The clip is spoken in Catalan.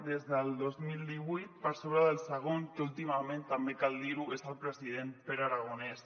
des del dos mil divuit per sobre del segon que últimament també cal dir·ho és el president pere aragonès